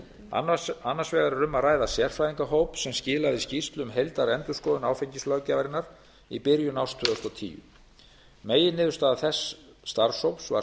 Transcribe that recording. annars vegar er um að ræða sérfræðingahóp sem skilaði skýrslu um heildarendurskoðun áfengislöggjafarinnar í byrjun árs tvö þúsund og tíu meginniðurstaða þess starfshóps var